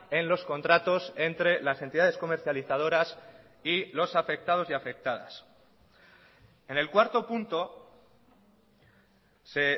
en los contratos entre las entidades comercializadoras y los afectados y afectadas en el cuarto punto se